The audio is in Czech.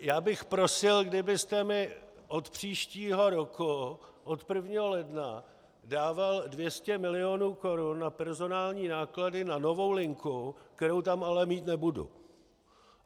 Já bych prosil, kdybyste mi od příštího roku od 1. ledna dával 200 milionů korun na personální náklady na novou linku, kterou tam ale mít nebudu.